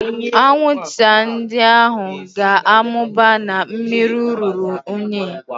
Anwụnta ndị ahụ ga-amụba na mmiri ruru unyi